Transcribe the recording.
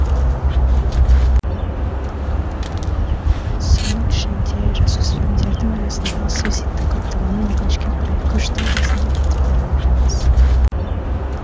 соның ішінде жасөспірімдердің арасындағы суицидтің көптігінен өкінішке қарай көштің басында кетіп бара жатырмыз